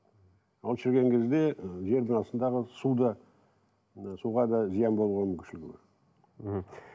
ол шіріген кезде і жердің астында қалады су да ы суға да зиян болуға мүмкіншілігі бар мхм